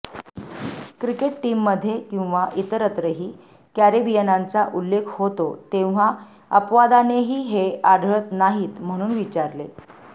cricket team मध्ये किम्वा इतरत्रही कॅरेबियनांचा उल्लेख होतो तेव्हा अपवादानेही हे आढळत नाहित म्हणून विचारले